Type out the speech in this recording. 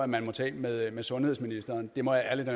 man må tage med med sundhedsministeren det må jeg ærligt